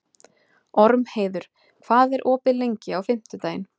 Ormheiður, hvað er opið lengi á fimmtudaginn?